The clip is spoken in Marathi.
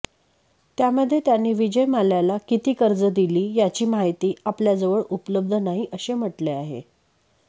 त्यामध्ये त्यांनी विजय मल्ल्याला किती कर्ज दिली याची माहिती आपल्याजवळ उपलब्ध नाही असे म्हटले आहे